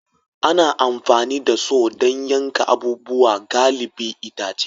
Ana amfani da Saw don yankan abubuwa galibi itace